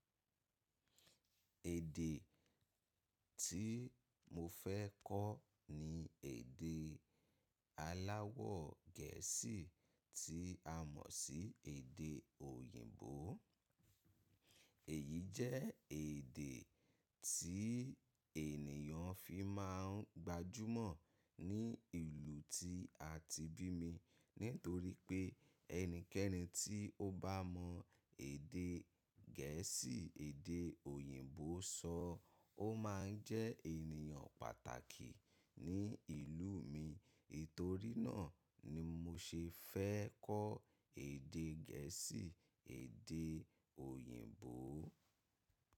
Èdè tí mo fẹ́ kọ́ ni èdè aláwọ̀ Gẹ̀ẹ́sì tí a mọ̀ sí èdè òyìnbó. Èyí jẹ́ èdè tí ènìyàn fi máa ń gbajúmọ̀ ní ìlú tí a ti bí mi ní torí pé ẹnikẹ́ni tí ó bá mọ èdè Gẹ̀ẹ́sì èdè òyìnbó sọ, ó máa ń jẹ́ ènìyàn pàtàkì ní ìlú mi. Ètorí náà ni mo ṣe fẹ́ kọ́ èdè Gẹ̀ẹ́sì èdè òyìnbó.